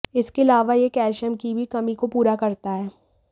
इसके अलावा यह कैल्शियम की भी कमी को पूरा करता है